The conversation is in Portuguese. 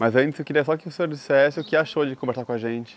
Mas antes eu queria só que o senhor dissesse o que achou de conversar com a gente.